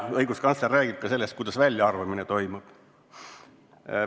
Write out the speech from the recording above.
Õiguskantsler räägib ka sellest, kuidas väljaarvamine toimub.